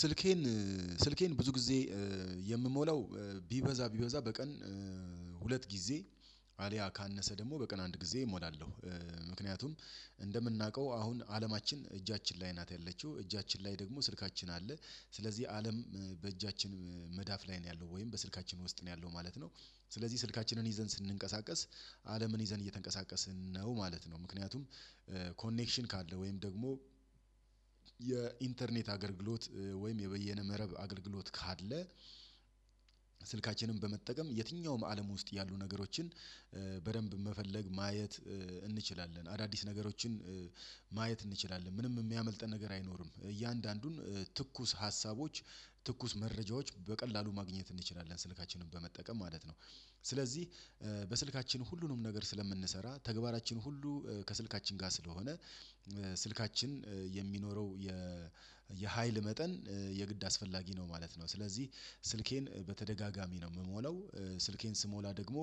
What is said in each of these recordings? ስልኬን ስልኬን ብዙ ጊዜ የምሞላው ቢበዛ ቢበዛ በቀን ሁለት ጊዜ አልያ ካነሰ ደግሞ በቀን አንድ ጊዜ እሞላለሁ። ምክንያቱም እንደምናውቀው አሁን አለማችን እጃችን ላይ ናት ያለችው እጃችን ላይ ደግሞ ስልካችን አለ ስለዚህ አለም በእጃችን መዳፍ ላይ ነው ያለው ወይም በስልካችን ውስጥ ነው ያለው ማለት ነው። ስለዚህ ስልካችንን ይዘን ስንንቀሳቀስ አለምን ይዘን እየተንቀሳቀስን ነው ማለት ነው። ምክንያቱም ኮኔክሽን ካለ ወይም ደግሞ የኢንተርኔት አገልግሎት ወይም የበየነ መረብ አገልግሎት ካለ ስልክ ስልካችንን በመጠቀም የትኛውም አለም ውስጥ ያሉ ነገሮችን በደንብ መፈለግ ማየት እንችላለን። አዳዲስ ነገሮችን ማየት እንችላለን ምንም የሚያመልጠን ነገር አይኖርም። እያንዳንዱን ትኩስ ሀሳቦች ትኩስ መረጃዎች በቀላሉ ማግኘት እንችላለን ስልካችንን በመጠቀም ማለት ነው። ስለዚህ በስልካችን ሁሉንም ነገር ስለምንሰራ ተግባራችን ሁሉ ከስልካችን ጋር ስለሆነ ስልካችን የሚኖረው የ የሀይል መጠን የግድ አስፈላጊ ነው ማለት ነው። ስለዚህ ስልኬን በተደጋጋሚ ነው የምሞለው ስልኬን ስሞላ ደግሞ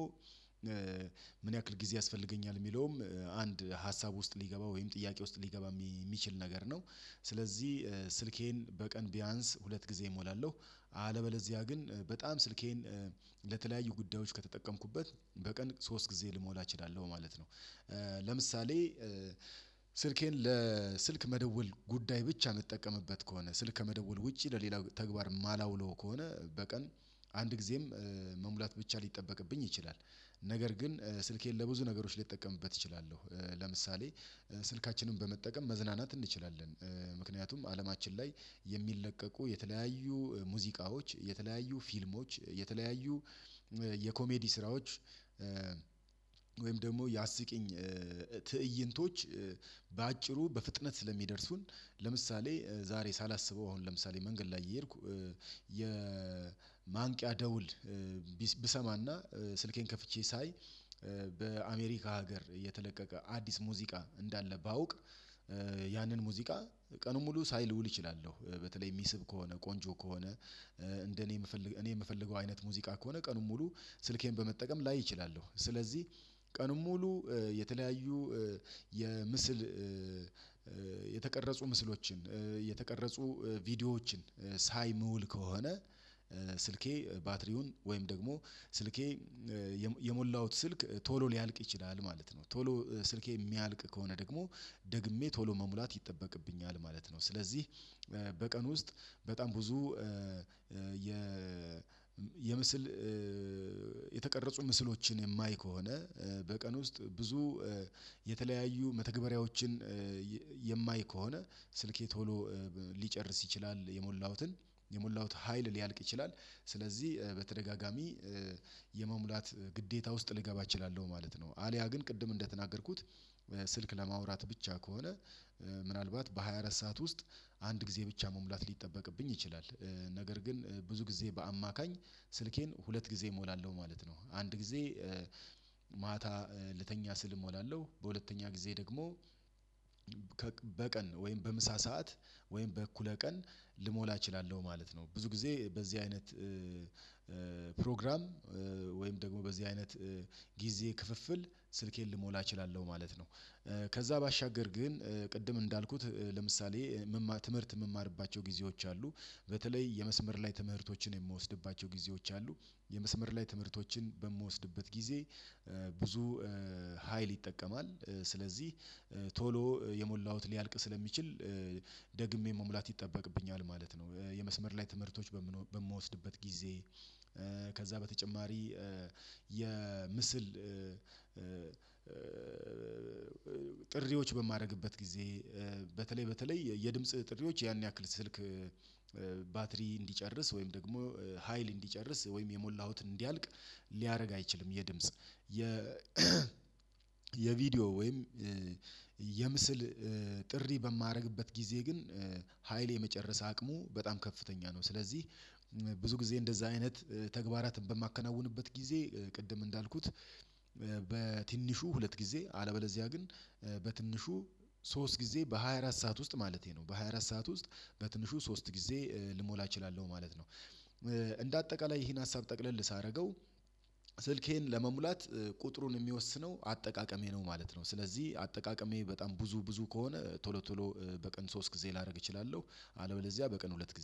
ምን ያክል ጊዜ ያስፈልገኛል የሚለውም አንድ ሀሳብ ውስጥ ሊገባ ወይም ጥያቄ ውስጥ ሊገባ የሚችል ነገር ነው። ስለዚህ ስልኬን በቀን ቢያንስ ሁለት ጊዜ እሞላለሁ። አለበለዚያ ግን በጣም ስልኬን ለተለያዩ ጉዳዮች ከተጠቀምኩበት በቀን ሶስት ጊዜ ልሞላ እችላለሁ ማለት ነው። ለምሳሌ ስልኬን ለስልክ መደወል ጉዳይ ብቻ እንጠቀምበት ከሆነ ስልክ ከመደወል ውጪ ለሌላው ተግባር ማላውለው ከሆነ በቀን አንድ ጊዜም መሙላት ብቻ ሊጠበቅብኝ ይችላል። ነገር ግን ስልኬን ለብዙ ነገሮች ሊጠቀምበት እችላለሁ። ለምሳሌ ስልካችንን በመጠቀም መዝናናት እንችላለን ምክንያቱም አለማችን ላይ የሚለቀቁ የተለያዩ ሙዚቃዎች የተለያዩ ፊልሞች የተለያዩ የኮሜዲ ስራዎች ወይም ደግሞ ያስቂኝ ትእይንቶች በአጭሩ በፍጥነት ስለሚደርሱን ለምሳሌ ዛሬ ሳላስበው አሁን ለምሳሌ መንገድ ላይ የሄድኩ እየሄድኩ የማንቂያ ደውል ብሰማና ስልኬን ከፍቼ ሳይ በአሜሪካ ሀገር የተለቀቀ አዲስ ሙዚቃ እንዳለ ባውቅ ያንን ሙዚቃ ቀኑን ሙሉ ሳይልውል ይችላለሁ። በተለይ የሚስብ ከሆነ ቆንጆ ከሆነ እንደ እኔ የምፈልገው እኔ የምፈልገው አይነት ሙዚቃ ከሆነ ቀኑን ሙሉ ስልኬን በመጠቀም ላይ እችላለሁ። ስለዚህ ቀኑን ሙሉ የተለያዩ የምስል የተቀረጹ ምስሎችን የተቀረጹ ቪዲዮዎችን ሳይ ምውል ከሆነ ስልኬ ባትሪውን ወይም ደግሞ ስልኬ የሞላሁት ስልክ ቶሎ ሊያልቅ ይችላል ማለት ነው። ቶሎ ስልኬ የሚያልቅ ከሆነ ደግሞ ደግሜ ቶሎ መሙላት ይጠበቅብኛል ማለት ነው። ስለዚህ በቀን ውስጥ በጣም ብዙ የ የምስል የተቀረጹ ምስሎችን የማይ ከሆነ በቀን ውስጥ ብዙ የተለያዩ መተግበሪያዎችን የማይ ከሆነ ስልኬ ቶሎ ሊጨርስ ይችላል የሞላሁትን የሞላሁት ሀይል ሊያልቅ ይችላል ስለዚህ በተደጋጋሚ የመሙላት ግዴታ ውስጥ ልገባ እችላለሁ ማለት ነው። አልያ ግን ቅድም እንደተናገርኩት ስልክ ለማውራት ብቻ ከሆነ ምናልባት በሃያ አራት ሰዓት ውስጥ አንድ ጊዜ ብቻ መሙላት ሊጠበቅብኝ ይችላል። ነገር ግን ብዙ ጊዜ በአማካኝ ስልኬን ሁለት ጊዜ እሞላለሁ ማለት ነው። አንድ ጊዜ ማታ ልተኛ ስል እሞላለሁ በሁለተኛ ጊዜ ደግሞ በቀን ወይም በምሳ ሰዓት ወይም በእኩለ ቀን ልሞላ እችላለሁ ማለት ነው። ብዙ ጊዜ በዚህ አይነት ፕሮግራም ወይም ደግሞ በዚህ አይነት ጊዜ ክፍፍል ስልኬን ልሞላ እችላለሁ ማለት ነው። ከዛ ባሻገር ግን ቅድም እንዳልኩት ለምሳሌ ትምህርት የምማርባቸው ጊዜዎች አሉ በተለይ የመስመር ላይ ትምህርቶችን የምወስድባቸው ጊዜዎች አሉ የመስመር ላይ ትምህርቶችን በምወስድበት ጊዜ ብዙ ሀይል ይጠቀማል ስለዚህ ቶሎ የሞላሁት ሊያልቅ ስለሚችል ደግሜ መሙላት ይጠበቅብኛል ማለት ነው። የመስመር ላይ ትምህርቶች በምወስድበት ጊዜ ከዛ በተጨማሪ የምስል ጥሪዎች በማድረግበት ጊዜ በተለይ በተለይ የድምጽ ጥሪዎች ያን ያክል ስልክ ባትሪ እንዲጨርስ ወይም ደግሞ ሀይል እንዲጨርስ ወይም የሞላሁትን እንዲያልቅ ሊያደርግ አይችልም። የድምጽ የ የቪዲዮ ወይም የምስል ጥሪ በማደርግበት ጊዜ ግን ሀይል የመጨረስ አቅሙ በጣም ከፍተኛ ነው። ስለዚህ ብዙ ጊዜ እንደዛ አይነት ተግባራትን በማከናውንበት ጊዜ ቅድም እንዳልኩት ሁለት ጊዜ አለበለዚያ ግን በትንሹ ሶስት ጊዜ በሃያ አራት ሰዓት ውስጥ ማለቴ ነው በሃያ አራት ሰዓት ውስጥ በትንሹ ሶስት ጊዜ ልሞላ እችላለሁ ማለት ነው። እንደ አጠቃላይ ይሄን ሀሳብ ጠቅለል ሳደርገው ስልኬን ለመሙላት ቁጥሩን የሚወስነው አጠቃቀሜ ነው ማለት ነው። ስለዚህ አጠቃቀሜ በጣም ብዙ ብዙ ከሆነ ቶሎ ቶሎ በቀን ሶስት ጊዜ ላደርግ እችላለሁ አለበለዚያ በቀን ሁለት ጊዜ